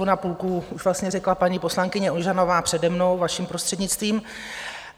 Ona půlku už vlastně řekla paní poslankyně Ožanová přede mnou, vaším prostřednictvím.